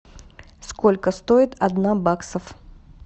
сколько стоит одна баксов